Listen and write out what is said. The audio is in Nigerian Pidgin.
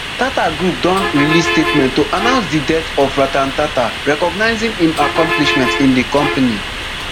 tata group don release statement to announce di death of ratan tata recognising im accomplishment in di company